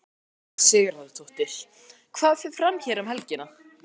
Elísabet Inga Sigurðardóttir: Hvað fer fram hér um helgina?